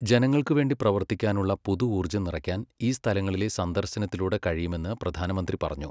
ജനങ്ങൾക്ക് വേണ്ടി പ്രവർത്തിക്കാനുള്ള പുതു ഊർജ്ജം നിറയ്ക്കാൻ ഈ സ്ഥലങ്ങളിലെ സന്ദർശനത്തിലൂടെ കഴിയുമെന്ന് പ്രധാനമന്ത്രി പറഞ്ഞു.